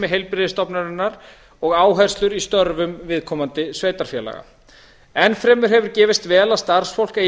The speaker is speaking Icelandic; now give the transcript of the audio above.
heilbrigðisstofnunarinnar og áherslur í störfum viðkomandi sveitarfélaga enn fremur hefur gefist vel að starfsfólk eigi